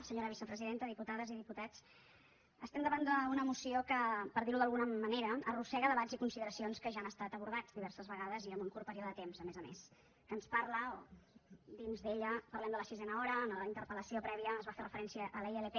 senyora vicepresidenta diputades i diputats estem davant d’una moció que per dir ho d’alguna manera arrossega debats i consideracions que ja han estat abordats diverses vegades i en un curt període de temps a més a més que ens parla o dins hi parlem de la sisena hora a la interpel·lació prèvia es va fer referència a la ilp